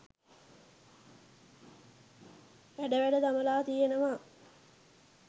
හැඩ වැඩ දමලා තියෙනවා.